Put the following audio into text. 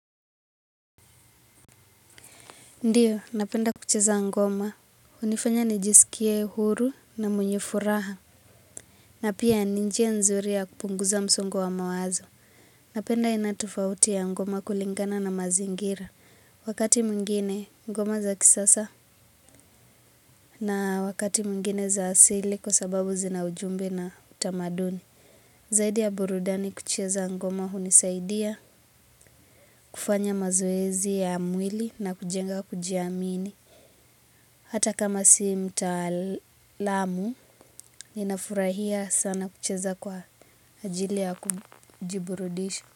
Ndiyo, napenda kucheza ngoma. Hunifanya nijisikie huru na mwenye furaha. Na pia ni njia nzuri ya kupunguza msongo wa mawazo. Napenda aina tofauti ya ngoma kulingana na mazingira. Wakati mwingine ngoma za kisasa. Na wakati mwingine za asili kwa sababu zina ujumbe na utamaduni. Zaidi ya burudani kucheza ngoma hunisaidia kufanya mazoezi ya mwili na kujenga kujiamini. Hata kama si mtaalamu ninafurahia sana kucheza kwa ajili ya kujiburudisha.